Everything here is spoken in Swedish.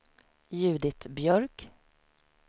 Judit Björk